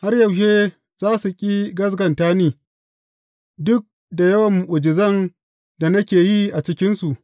Har yaushe za su ƙi gaskata da ni, duk da yawan mu’ujizan da nake yi a cikinsu?